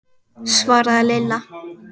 svaraði Lilla.